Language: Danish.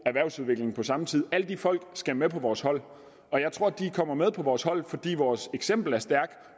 og erhvervsudvikling på samme tid alle de folk skal med vores hold og jeg tror de kommer med på vores hold fordi vores eksempel er stærkt